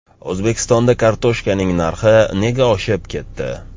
O‘zbekistonda kartoshkaning narxi nega oshib ketdi?.